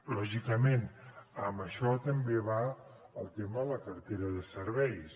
lògicament amb això també va el tema de la cartera de serveis